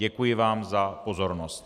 Děkuji vám za pozornost.